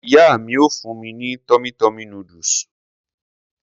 Ìyá mi ó fún mi ní tummy tummy noodles.